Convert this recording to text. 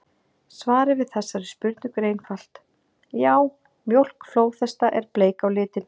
Svarið við þessari spurningu er einfalt: Já, mjólk flóðhesta er bleik á litinn!